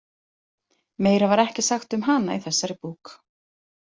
Meira var ekki sagt um hana í þessari bók.